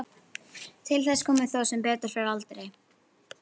Til þess kom þó sem betur fer aldrei.